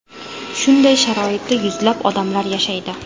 Shunday sharoitda yuzlab odamlar yashaydi.